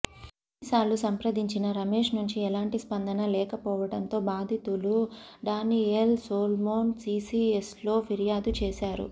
ఎన్నిసార్లు సంప్రదించినా రమేష్ నుంచి ఎలాంటి స్పందన లేకపోవడంతో బాధితులు డానియేల్ సోల్మొన్ సీసీఎస్లో ఫిర్యాదు చేశారు